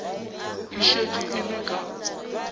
e šetše e le ka